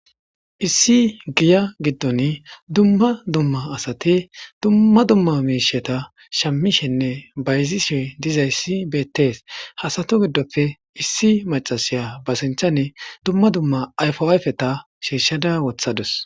Issi giya giddon dumma dumma asati dumma dumma miisheta shammishenne bayzishe dizayssi beettees hasato giddoppe issi macasiya basinchane dumma dumma ayfo ayfeta shiishada wothadus.